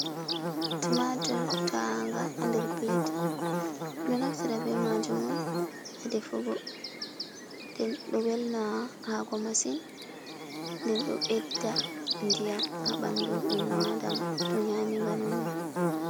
Tumatur ta'a nga nder plat, ɗo naftira be majum on ha ɗefugo, nden ɗo welnaa haako masin, nden ɗo ɓedda diyam ha ɓandu enno Adama to nyami nga nonnon.